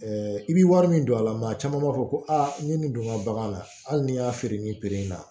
i bɛ wari min don a la mɛ a caman b'a fɔ ko aa ne nin donna bagan na hali ni n y'a feere nin in na